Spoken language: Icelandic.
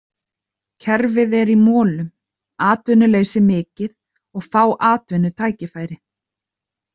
Kerfið er í molum, atvinnuleysi mikið og fá atvinnutækifæri.